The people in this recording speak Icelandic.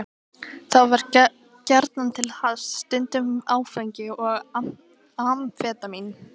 Þá var gjarnan til hass, stundum áfengi og amfetamín.